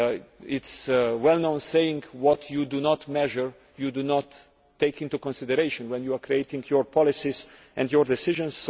There is a well known saying what you do not measure, you do not take into consideration when you are creating your policies and your decisions.